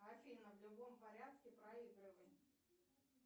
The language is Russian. афина в любом порядке проигрывай